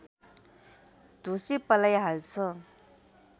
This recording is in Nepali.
ढुसी पलाइहाल्छ